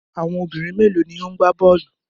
Àwọn obìnrin mélòó ni ó ń gbá bọ́ọ́lù?